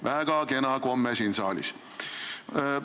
Väga kena komme siin saalis!